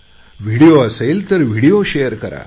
video असेल तर video share करा